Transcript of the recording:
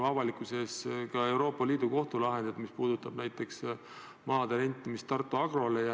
Avalikkus teab ju näiteks Euroopa Liidu Kohtu lahendit, mis puudutab maade rentimist Tartu Agrole.